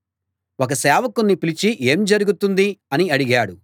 ఒక సేవకుణ్ణి పిలిచి ఏం జరుగుతోంది అని అడిగాడు